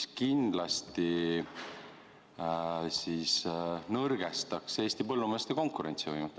See kindlasti nõrgestaks Eesti põllumeeste konkurentsivõimet.